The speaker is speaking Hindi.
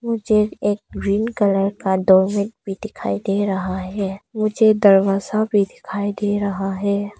मुझे एक ग्रीन कलर का डोर मैट भी दिखाई दे रहा है मुझे दरवाजा भी दिखाई दे रहा है।